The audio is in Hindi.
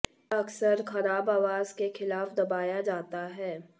यह अक्सर खराब आवास के खिलाफ दबाया जाता है